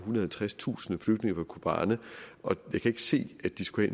og halvtredstusind flygtninge fra kobani og jeg kan ikke se at de skulle